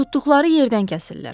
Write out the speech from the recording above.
Tutduqları yerdən kəsirlər.